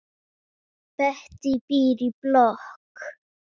Bettý býr í blokk.